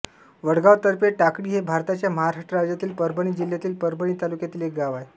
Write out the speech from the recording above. वडगाव तर्फे टाकळी हे भारताच्या महाराष्ट्र राज्यातील परभणी जिल्ह्यातील परभणी तालुक्यातील एक गाव आहे